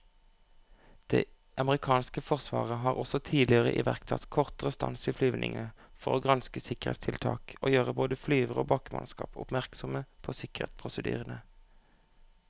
Det amerikanske forsvaret har også tidligere iverksatt kortere stans i flyvningene for å granske sikkerhetstiltak og gjøre både flyvere og bakkemannskap oppmerksomme på sikkerhetsprosedyrene.